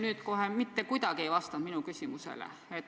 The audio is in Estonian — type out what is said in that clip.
Te kohe mitte kuidagi ei vastanud minu küsimusele.